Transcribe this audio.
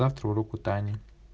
завтра урок у тани